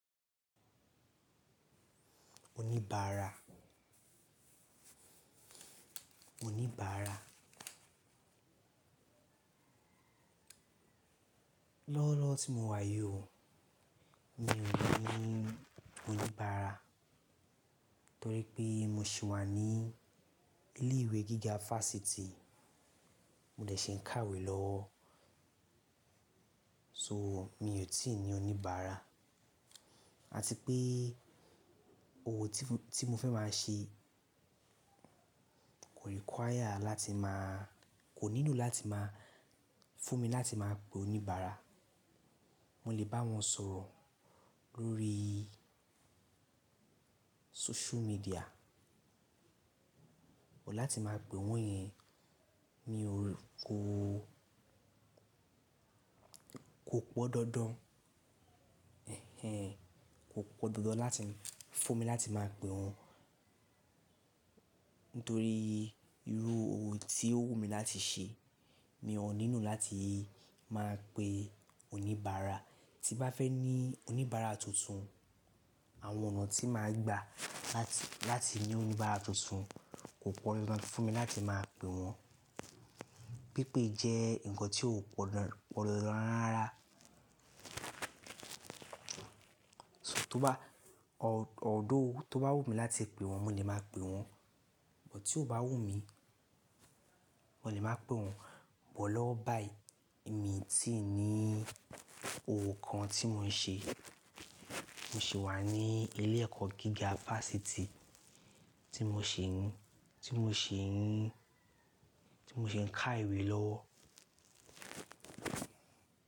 Oníbàárà. Oníbàárà. Lọ́wọ́lọ́wọ́ tí mo wà yi o mi ò ní oníbàárà torí pé mo sì wà ní ilé ìwé gíga fásitì, mo dè ṣe ń kàwé lọ. So mi ò tí ì ní oníbàárà. Àti pé ohun tí mo fẹ́ máa ṣe kò require láti máa-- kò nílò láti máa fún mi láti máa pe oníbàárà. Mo lè bá wọn sọ̀rọ̀ lórí social media. Kò láti máa pè wọ́n yẹn, mi ò kó, kò pọ̀ dọ́dọ́n, ẹh ẹh, kò pọ̀ dọ́dọ́n láti fún mi láti máa pe wọ́n. Nítorí irú ohun tí ó wù mí láti ṣe, mi ò nílò láti máa pe oníbàárà. Tí bá fẹ́ ní oníbàárà tuntun, àwọn ọ̀nà tí máa gbà láti, láti ní oníbàárà tuntun kò pọ̀ lọ láti fún mi láti máa pe wọ́n. Pípé jẹ́ ǹkan tí ò pọ̀ lọ rárá. To bá, although tó bá wù mí láti pe wọ́n, mo lè máa pe wọ́n. Bọ̀ tí ò bá wù mí, mo lè máa pe wọ́n. Bọ̀ lọwọ báyiì, emi i ti ní òwò kan tí mò ń ṣe. Mo ṣì wà ní ilé ẹ̀kọ́ gíga fásitì tí mo ṣì ń, tí mo ṣì ń, tí mo ṣẹ ń kà iwé lọwọ.